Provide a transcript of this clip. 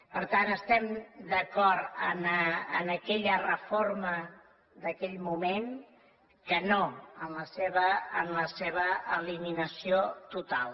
per tant estem d’acord en aquella reforma d’aquell moment que no en la seva eliminació total